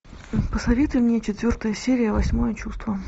посоветуй мне четвертая серия восьмое чувство